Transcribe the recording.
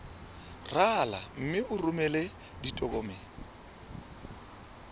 rala mme o romele ditokomene